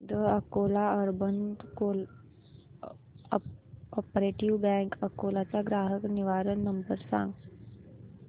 the Akola urban cooperative bank अकोला चा ग्राहक निवारण नंबर सांग